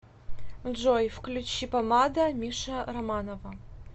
джой включи помада миша романова